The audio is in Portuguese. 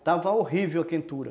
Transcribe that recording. Estava horrível a quentura.